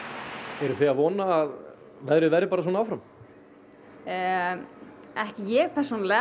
eruð þið að vona að veðrið verði bara svona áfram ekki ég persónulega